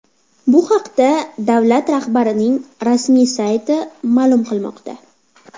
Bu haqda davlat rahbarining rasmiy sayti ma’lum qilmoqda .